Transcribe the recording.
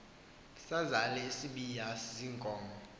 sazal isibaya ziinkomo